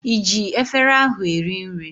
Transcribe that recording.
ị ji efere ahụ eri nri?